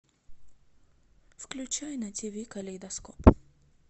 включай на тиви калейдоскоп